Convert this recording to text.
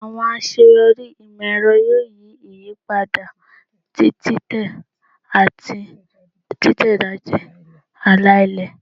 Awọn aṣeyọri imọ-ẹrọ yoo yi iyipada ti titẹ ati titẹjade ala-ilẹ